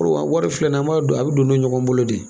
wari filɛ ni an b'a don a bɛ don don ɲɔgɔn bolo de.